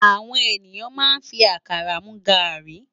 Áwòn éniyán má n fi àkárá mú gári